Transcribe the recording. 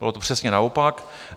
Bylo to přesně naopak.